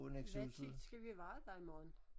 Hvad tid skal vi være der i morgen?